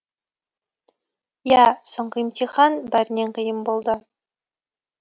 иә соңғы емтихан бәрінен қиын болды